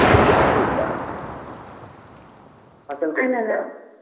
ಅಡಿಕೆ ನೆಡಲಿಕ್ಕಾ ಫಸಲು ಕೊಡ್ಲಿಕ್ಕಾ?